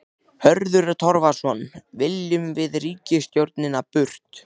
Hörður Torfason: Viljum við ríkisstjórnina burt?